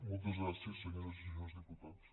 moltes gràcies senyores i senyors diputats